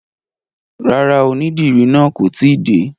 Rárá, onídìrí náà kò tíì dé.